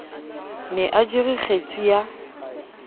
ne a jere kgetsi ya